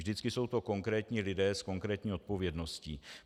Vždycky jsou to konkrétní lidé s konkrétní odpovědností.